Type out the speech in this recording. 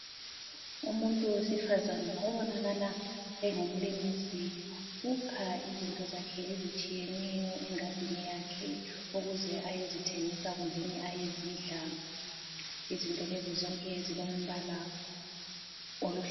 Umuntu wesifazana obonakala engumlimisi ukha izinto zakhe ezitshiyeneyo engadini yakhe ukuze ayezithengisa kumbeni ayezidla. Izinto lezi zonke zilombala oluhlaza.